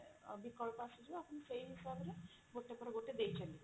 ବିକଳ୍ପ ଆସିଯିବ ଆପଣ ସେଇ ହିସାବରେ ଗୋଟେ ପରେ ଗୋଟେ ଦେଇ ଚଲିବେ